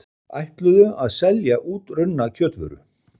Ætluðu að selja útrunna kjötvöru